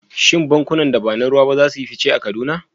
Shin bankunan da ba na ruwa ba za su yi fice a Kaduna?